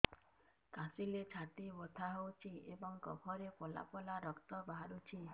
କାଶିଲେ ଛାତି ବଥା ହେଉଛି ଏବଂ କଫରେ ପଳା ପଳା ରକ୍ତ ବାହାରୁଚି